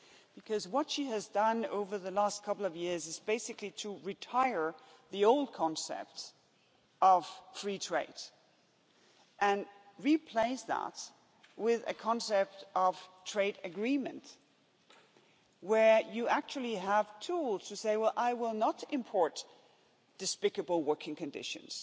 because what she has done over the last couple of years is basically to retire the old concept of free trade and replace that with a concept of trade agreement, where you actually have tools to say, well, I will not import despicable working conditions